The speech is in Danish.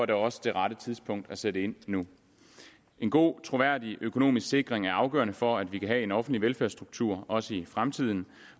det også det rette tidspunkt at sætte ind nu en god troværdig økonomisk sikring er afgørende for at vi kan have en offentlig velfærdsstruktur også i fremtiden